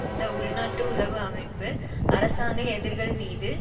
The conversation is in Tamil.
இந்த உள்நாட்டு உளவு அமைப்பு அரசாங்க எதிர்கள் மீது